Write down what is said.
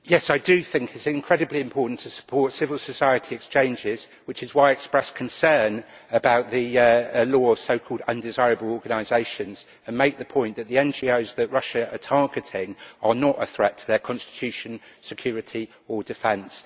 Yes, I do think it is incredibly important to support civil society exchanges, which is why I express concern at the law on so-called undesirable organisations' and would make the point that the NGOs that Russia is targeting are not a threat to its constitution, security or defence.